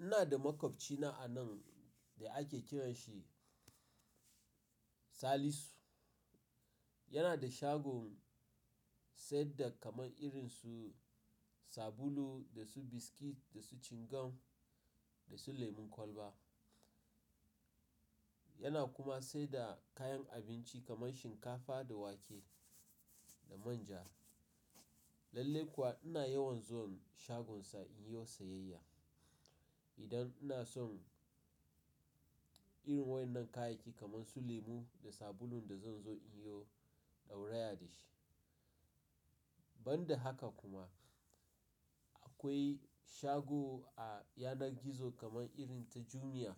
Ina da maƙwabci na a nan da ake kiran shi Salisu. Yana da shagon saida kaman irin su sabulu, da su biskit, da su cingam, da su lemun kwalba. Yana kuma saida kayan abinci kaman shinkafa da wake da manja. Lallai kuwa ina yawan zuwan shagonsa in yiwo siyayya. Idan ina son irin wainnan kayayyaki kaman su lemu da sabulun da zan zo in yo dau rayar da shi. Ban da haka kuma, akwai shago a yanar gizo kaman irin ta Jumia.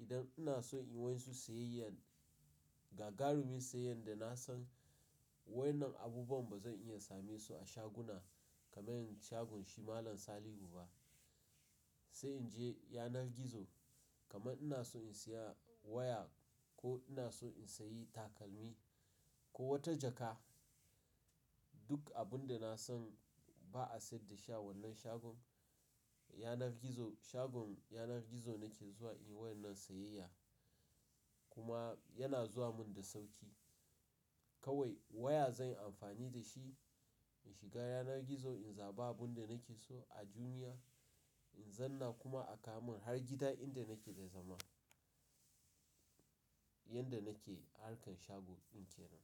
Idan ina son in yi wainsu siyayyan gagarumi siyayya da na san wainnan abubuwan ba zan iya samisu a shaguna kaman shagun shi Malam Salihu ba. Sai in je yanar gizo kaman ina so in siya waya ko ina so in sayi takalmi ko wata jaka. Duk abun da na san ba a saida shi a wannan shagon, yanar gizo-- shagon yanar gizo nake zuwa in yi wainnan siyayya. Kuma yana zuwa mun da sauki. Kawai waya zan yi amfani da shi in shiga yanar gizo, in zaɓa abun da nake so a Jumia, in zanna kuma a ka mun har gida inda nake da zama. Yanda nake harkar shago ɗin kenan.